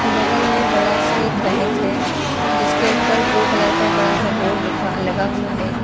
बगल में बड़ा सा एक बैंक है जिसके ऊपर ब्लू कलर का बड़ा सा बोर्ड लिखा लगा हुआ है।